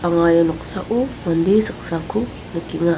anga ia noksao mande saksako nikenga.